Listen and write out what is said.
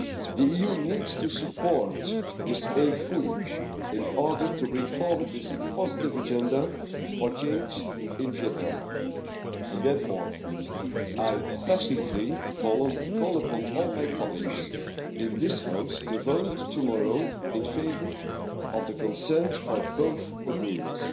The EU needs to support this aim fully in order to bring forward this positive agenda for change in Vietnam, and therefore I passionately call upon all my colleagues in this House to vote tomorrow in favour of the consent for both agreements,